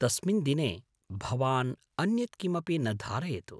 तस्मिन् दिने भवान् अन्यत् किमपि न धारयतु।